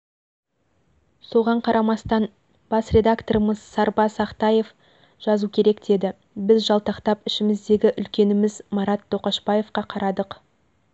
соған қарамастан бас редакторымыз сарбас ақтаев жазу керек деді біз жалтақтап ішіміздегі үлкеніміз марат тоқашбаевқа қарадық